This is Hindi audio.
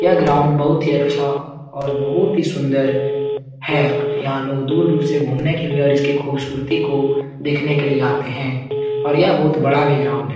यह ग्राउंड बहुत ही अच्छा और बहुत ही सुन्दर है यहाँ लोग दूर-दूर से घुमने के लिए और इसकी खूबसूरती को देखने के लिए आते हैं और यह बहुत बड़ा भी ग्राउंड है।